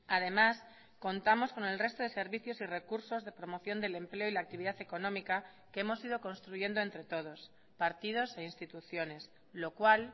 además contamos con el resto de servicios y recursos de promoción del empleo y la actividad económica que hemos ido construyendo entre todos partidos e instituciones lo cual